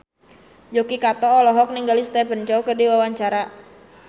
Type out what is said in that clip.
Yuki Kato olohok ningali Stephen Chow keur diwawancara